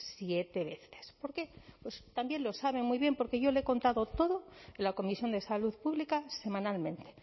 siete veces por qué pues también lo sabe muy bien porque yo le he contado todo en la comisión de salud pública semanalmente